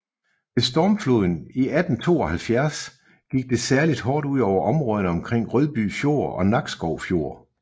Ved stormfloden i 1872 gik det særligt hårdt ud over områderne omkring Rødby Fjord og Nakskov Fjord